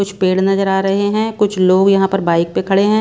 कुछ पेड़ नजर आ रहे है कुछ लोग यहां पर बाइक पे खड़े हैं।